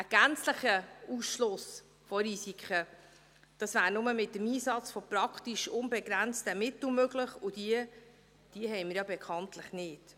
Einen gänzlichen Ausschluss von Risiken, das wäre nur mit dem Einsatz von praktisch unbegrenzten Mitteln möglich, und diese haben wir ja bekanntlich nicht.